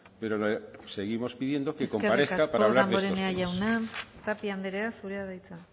pero le seguimos pidiendo que comparezca para hablar de estos temas eskerrik asko damborenea jauna tapia andrea zurea da hitza